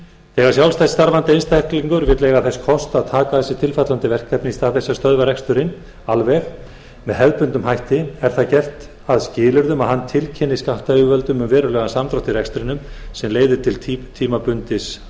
þegar sjálfstætt starfandi einstaklingur vill eiga þess kost að taka að sér tilfallandi verkefni í stað þess að stöðva reksturinn alveg með hefðbundnum hætti er það gert að skilyrði að hann tilkynni skattyfirvöldum um verulegan samdrátt í rekstrinum sem leiðir til tímabundins